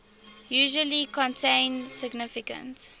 usually contain significant